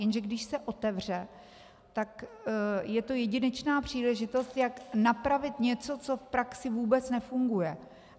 Jenže když se otevře, tak je to jedinečná příležitost, jak napravit něco, co v praxi vůbec nefunguje.